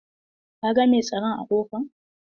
Ka ga mai tsaron a ƙofa?